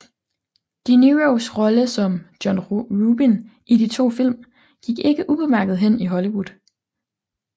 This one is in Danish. De Niros rolle som Jon Rubin i de to film gik ikke ubemærket hen i Hollywood